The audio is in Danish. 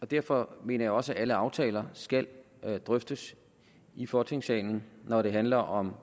og derfor mener jeg også at alle aftaler skal drøftes i folketingssalen når det handler om